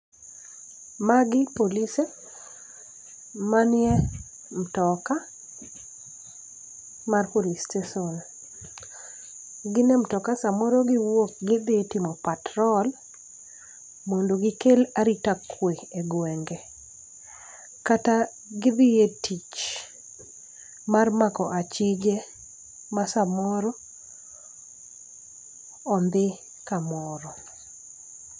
Magi polise manie mtoka ma police station. Ginie mtoka samoro giwuok gidhi timo patrol mondo gikel arita kwe e gwenge. Kata gidhie tich mar mako achige ma samoro ondhi kamoro.